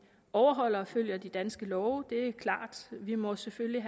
overholder og følger de danske love det er klart vi må selvfølgelig